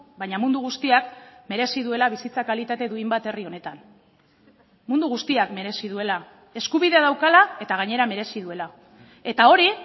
baina mundu guztiak merezi duela bizitza kalitate duin bat herri honetan mundu guztiak merezi duela eskubidea daukala eta gainera merezi duela eta hori